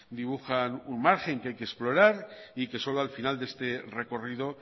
dibujan un margen que hay que explorar y que solo al final de este recorrido